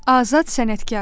Azad sənətkar.